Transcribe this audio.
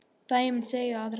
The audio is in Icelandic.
Dæmin segja aðra sögu.